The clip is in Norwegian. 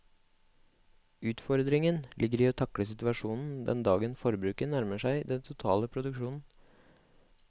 Utfordringen ligger i å takle situasjonen den dagen forbruket nærmer seg den totale produksjonen.